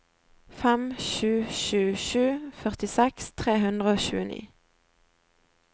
fem sju sju sju førtiseks tre hundre og tjueni